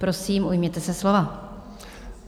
Prosím, ujměte se slova.